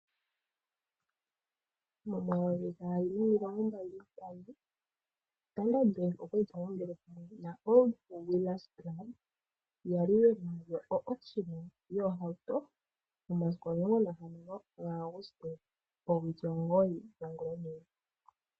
Momayovi gaali nomilongombali nantano